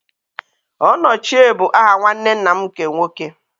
Onochie bụ aha nwanne nna m nke nwoke.